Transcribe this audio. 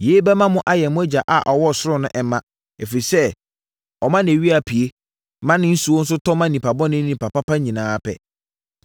Yei bɛma mo ayɛ mo Agya a ɔwɔ ɔsoro no mma, ɛfiri sɛ, ɔma nʼawia pue, ma ne nsuo tɔ ma nnipa bɔne ne nnipa pa nyinaa pɛ.